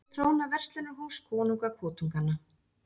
Hér tróna verslunarhús konunga kotunganna